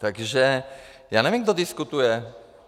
Takže já nevím, kdo diskutuje.